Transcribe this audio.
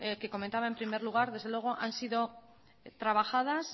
que comentaba en primer lugar desde luego han sido trabajadas